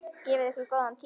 Gefið ykkur góðan tíma.